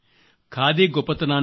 ఖాదీ గొప్పతనాన్ని